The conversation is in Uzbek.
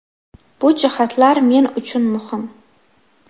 Bu jihatlar men uchun muhim.